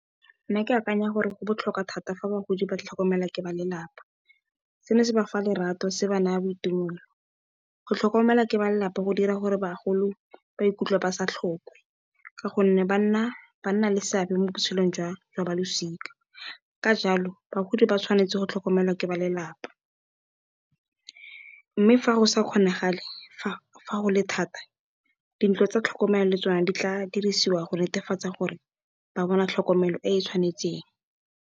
Nna ke akanya gore go botlhokwa thata fa bagodi ba ka tlhokomelwa ke ba lelapa. Seno se ba fa lerato se ba naya boitumelo, go tlhokomelwa ke ba lelapa go dira gore bagolo ba ikutlwe ba sa tlhoke ka gonne, banna le seabe mo botshelong jwa balosika ka jalo bagodi ba tshwanetse go tlhokomelwa ke ba lelapa. Mme, fa go sa kgonagale, fa go le thata dintlo tsa tlhokomelo le tsona di tla dirisiwa go netefatsa gore ba bona tlhokomelo e e tshwanetseng.